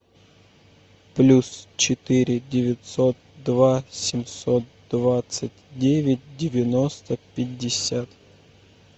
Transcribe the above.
плюс четыре девятьсот два семьсот двадцать девять девяносто пятьдесят